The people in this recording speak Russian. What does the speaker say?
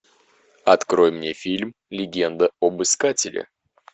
открой мне фильм легенда об искателе